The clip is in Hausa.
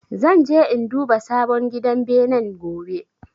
Zan je in duba sabon gidan benen gobe